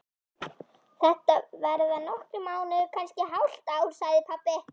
Þetta verða nokkrir mánuðir, kannski hálft ár, sagði pabbi.